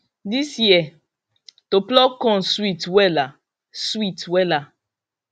this year to pluck corn sweet wela sweet wela